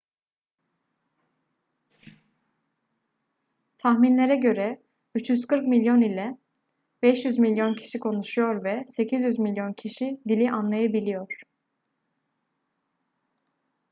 tahminlere göre 340 milyon ila 500 milyon kişi konuşuyor ve 800 milyon kişi dili anlayabiliyor